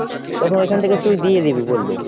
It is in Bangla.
তখন ওইখান থেকে তুই দিয়ে দিবি বললো।